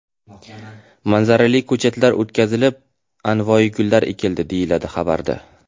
Manzarali ko‘chatlar o‘tqazilib, anvoyi gullar ekildi”, deyiladi xabarda.